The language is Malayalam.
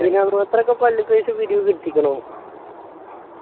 ഇതിനും മാത്രം ഒക്കെ പള്ളിക്ക് പൈസ പിരിവ് കിട്ടിക്കുണൊ